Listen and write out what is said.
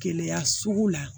Keleya sugu la